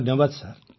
ଧନ୍ୟବାଦ୍ ସାର୍